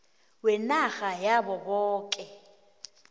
wenarha yabo boke